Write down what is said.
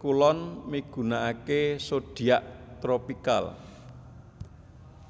kulon migunakaké zodiak tropikal